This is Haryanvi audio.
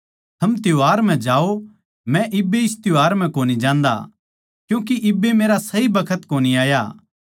थम त्यौहार म्ह जाओ मै इब्बे इस त्यौहार म्ह कोनी जान्दा क्यूँके इब्बे मेरा सही बखत कोनी आया